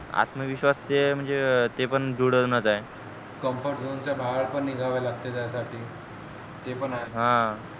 आत्मविश्वास जे म्हणजे जे पण जुडवनच आहे comfert zon च्या बाहेर पण निघा लागते त्या साठी ते पण आहे हा